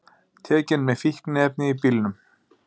Tekin með fíkniefni í bílnum